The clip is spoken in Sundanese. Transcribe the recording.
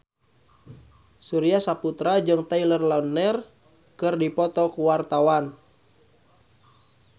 Surya Saputra jeung Taylor Lautner keur dipoto ku wartawan